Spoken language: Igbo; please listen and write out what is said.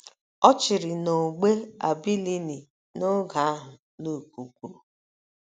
Ọ chịrị n’ógbè Abilini n’oge ahụ Luk kwuru.